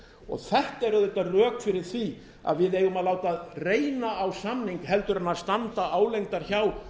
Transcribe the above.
og þetta eru auðvitað rök fyrir því að við eigum að láta reyna á samning heldur en standa álengdar hjá